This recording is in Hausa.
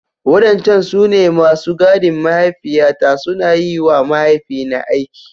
Wadancan su ne masu gadin mahaifiyata, suna yi wa mahaifina aiki.